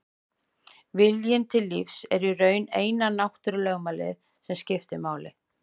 Viljinn til lífs er í raun eina náttúrulögmálið sem skiptir máli.